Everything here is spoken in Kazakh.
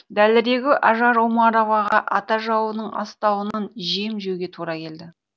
дәлірегі ажар омароваға ата жауының астауынан жем жеуге тура келді